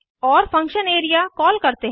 और function area call करते हैं